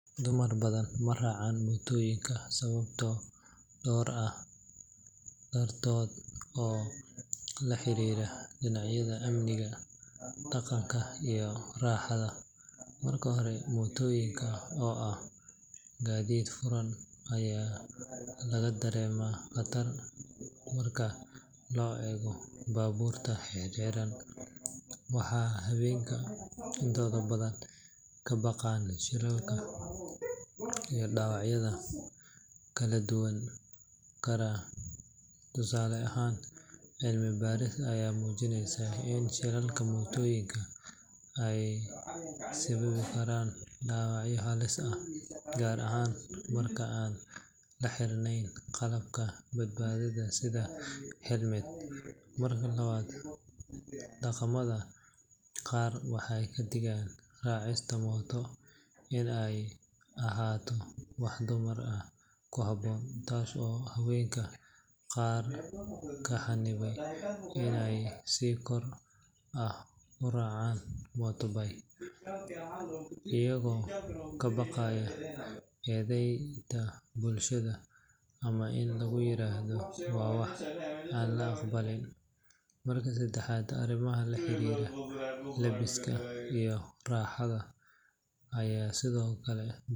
Dumar badan ma raacaan mootooyinka sababo dhowr ah dartood oo la xiriira dhinacyada amniga, dhaqanka, iyo raaxada. Marka hore, mootooyinka oo ah gaadiid furan ayaa laga dareemaa khatar marka loo eego baabuurta xirxiran, waxaana haweenka intooda badan ka baqaan shilalka iyo dhaawacyada ka dhalan kara. Tusaale ahaan, cilmi baarisyo ayaa muujinaya in shilalka mootooyinka ay sababi karaan dhaawacyo halis ah, gaar ahaan marka aan la xirnayn qalabka badbaadada sida helmet. Marka labaad, dhaqamada qaar waxay ka dhigaan raacista mooto in aanay ahayn wax dumar ku habboon, taas oo haweenka qaar ka xaniba inay si xor ah u raacaan motorbike, iyagoo ka baqaya eedayn bulshada ama in lagu yiraahdo waa wax aan la aqbalin. Marka saddexaad, arrimaha la xiriira labiska iyo raaxada ayaa sidoo kale.